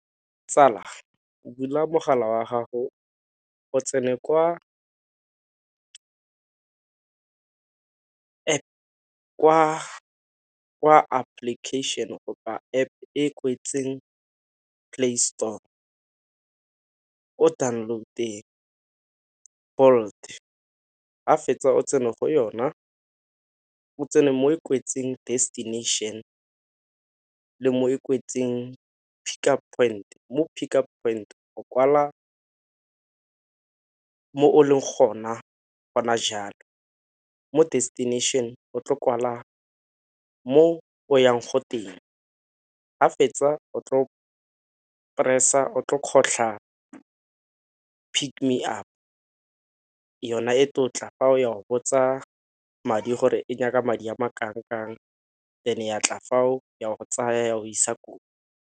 Tsala go bula mogala wa gago o tsene kwa application go ba App e kwetseng Play Store. O download-te Bolt ga o fetsa o tsene go yona, o tsene mo e kwetseng destination le mo e kwetseng pick-up point, mo pick-up point o kwala ko o leng gona gona jaanong, mo destination o tlo kwala mo o yang go teng. Ga fetsa o tlo press-a, o tlo kgotlha pick me up yona e tlo go tla ya go botsa madi gore e nyaka madi a ma kanangkang then ya tla fao ya go tsaya go isa koo.